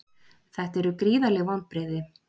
Þetta eru gríðarleg vonbrigði